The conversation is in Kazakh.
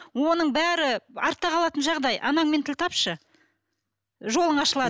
оның бәрі артта қалатын жағдай анаңмен тіл тапшы жолың ашылады